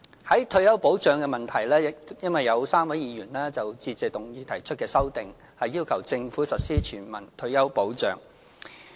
在退休保障的問題方面 ，3 位議員就致謝議案提出修訂，要求政府實施全民退休保障。